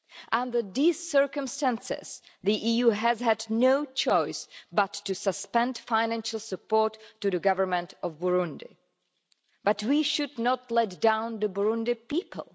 Under these circumstances, the EU has had no choice but to suspend financial support to the government of Burundi. But we should not let down the Burundian people.